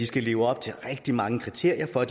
skal leve op til rigtig mange kriterier for